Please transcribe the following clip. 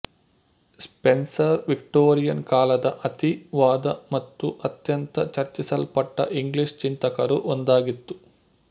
Spencer Victorian ಕಾಲದ ಅತಿ ವಾದ ಮತ್ತು ಅತ್ಯಂತ ಚರ್ಚಿಸಲ್ಪಟ್ಟ ಇಂಗ್ಲೀಷ್ ಚಿಂತಕರು ಒಂದಾಗಿತ್ತು